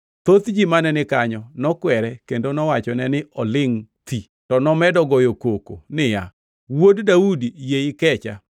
Thoth ji mane ni kanyo nokwere kendo nowachone ni olingʼ thi, to nomedo goyo koko niya, “Wuod Daudi, yie ikecha!”